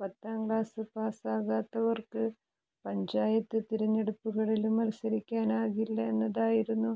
പത്താം ക്ലാസ് പാസാകാത്തവര്ക്ക് പഞ്ചായത്ത് തിരഞ്ഞെടുപ്പുകളില് മല്സരിക്കാനാകില്ല എന്നതായിരുന്നു